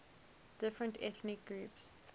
different ethnic groups